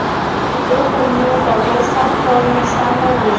ukunyuka kwesakhono samaziko